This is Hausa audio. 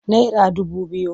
Naira dubu biyu.